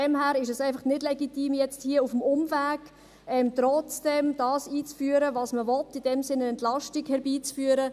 Daher ist es nicht legitim, hier auf dem Umweg trotzdem einzuführen, was man will, in diesem Sinn eine Entlastung herbeizuführen.